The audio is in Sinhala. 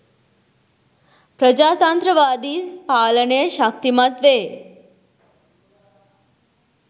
ප්‍රජාතන්ත්‍රවාදි පාලනය ශක්තිමත් වේ.